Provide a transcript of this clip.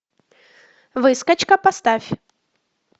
выскочка поставь